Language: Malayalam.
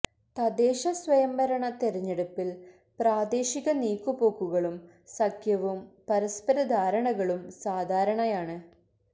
തദ്ദേശ സ്വയം ഭരണ തെരഞ്ഞെടുപ്പില് പ്രാദേശിക നീക്കുപോക്കുകളും സഖ്യവും പരസ്പര ധാരണകളും സാധാരണയാണ്